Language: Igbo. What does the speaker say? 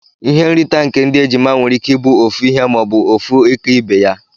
Ihe nrita nke ndi ejima nwere ike ibu ofu ihe ma obu ofu ika ibeya.